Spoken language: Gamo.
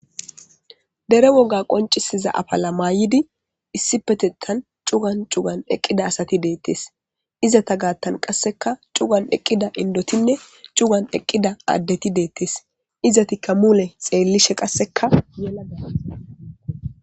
dere woga qoncisiza apala maayidi issipetetan cugan cugan eqqida asati deettes izata gaattan qasseka cugan eqqida indotinne cugan eqqida addeti deettes izatikka mule xeellishe qassekala